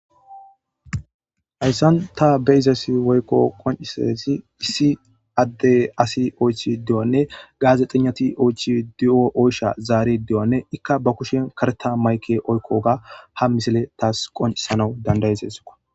Hayssan ta be izas woykko qoncisezi issi adde asi oychi de'onne gaazexinnati oychi de'o oysha zaari de7onne ikka ba kushen kareta mayke oykkoga ha misile taas qoncisanau dandayezesoka.